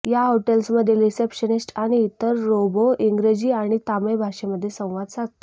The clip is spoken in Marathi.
या हॉटेल्समधील रिसेप्शनिस्ट आणि इतर रोबो इंग्रजी आणि तामीळ भाषेमध्ये संवाद साधतो